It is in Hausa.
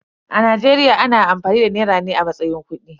A Najeriya ana amfani da nera ne a matsayin kudi.